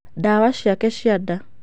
Ndawa ciake cia nda.